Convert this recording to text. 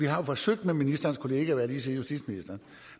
har forsøgt med ministerens kollega justitsministeren